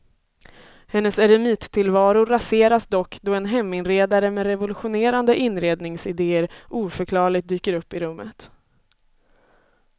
Hennes eremittillvaro raseras dock då en heminredare med revolutionerande inredningsidéer oförklarligt dyker upp i rummet.